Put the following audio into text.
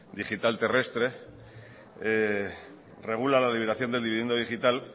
digital terrestre regula la liberación del dividendo digital